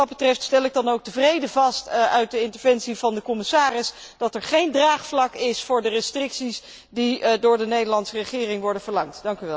Wat dat betreft stel ik dan ook tevreden vast uit de woorden van de commissaris, dat er geen draagvlak is voor de restricties die door de Nederlandse regering worden verlangd.